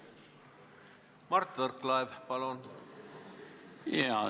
Mart Võrklaev, palun!